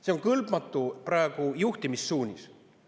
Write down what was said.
See on kõlbmatu juhtimissuunis praegu.